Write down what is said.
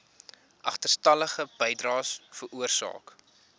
agterstallige bydraes veroorsaak